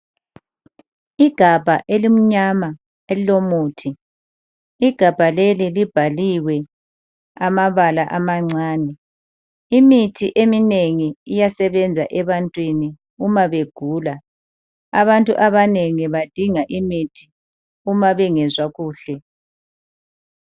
Igabha elimnyama elilomuthi, igabha leli libhaliwe amabala amancane. Imithi eminengi iyasebenza ebantwini umabegula. Abantu abanengi badinga imithi uma bengezwa kuhle.